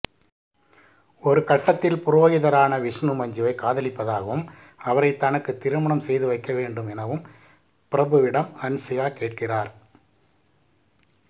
ஒருகட்டத்தில் புரோகிதரான விஷ்ணு மஞ்சுவை காதலிப்பதாகவும் அவரை தனக்கு திருமணம் செய்து வைக்கவேண்டும் எனவும் பிரபுவிடம் ஹன்சிகா கேட்கிறார்